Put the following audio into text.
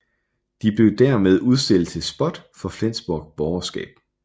De blev dermed udstillet til spot for Flensborgs borgerskab